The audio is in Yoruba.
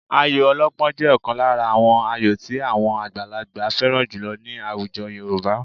Ayò ọlọ́pọ́n jẹ́ ọ̀kan lára àwọn ayò tí àwọn àgbàlagbà fẹ́ràn jùlọ ní àwùjọ Yorùbá